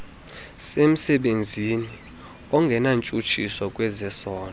semsebenzini ongenantshutshiso ngezesondo